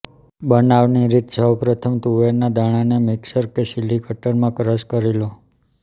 બનાવાની રીતઃ સૌપ્રથમ તુવેરના દાણાને મિક્સર કે ચીલી કટરમાં ક્રશ કરી લો